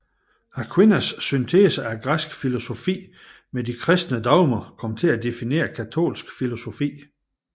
Aquinas syntese af græsk filosofi med de kristne dogmer kom til at definere katolsk filosofi